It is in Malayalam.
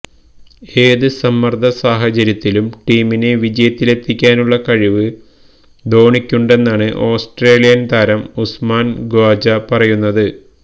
ഏത് സമ്മർദ്ദ സാഹചര്യത്തിലും ടീമിനെ വിജയത്തിലെത്തിയ്ക്കാനുള്ള കഴിവ് ധോണിയ്ക്കുണ്ടെന്നാണ് ഓസ്ട്രേലിയൻ താരം ഉസ്മാൻ ഖ്വാജ പറയുന്നത്